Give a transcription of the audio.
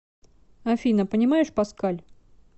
афина понимаешь паскаль